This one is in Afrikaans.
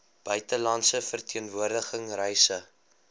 buitelandse verteenwoordiging reise